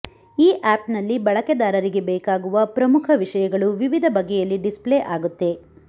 ಈ ಆಪ್ನಲ್ಲಿ ಬಳಕೆದಾರರಿಗೆ ಬೇಕಾಗುವ ಪ್ರಮುಖ ವಿಷಯಗಳು ವಿವಿದ ಬಗೆಯಲ್ಲಿ ಡಿಸ್ಪ್ಲೇ ಆಗುತ್ತೆ